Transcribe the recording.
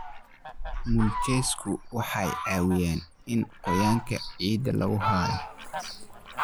Mulchesku waxay caawiyaan in qoyaanka ciidda lagu hayo.